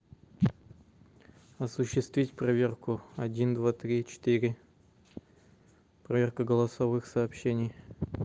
осуществить проверку один два три четыре проверка голосовых сообщений